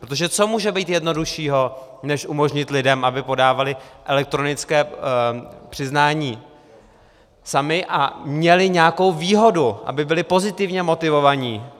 Protože co může být jednoduššího než umožnit lidem, aby podávali elektronické přiznání sami a měli nějakou výhodu, aby byli pozitivně motivováni?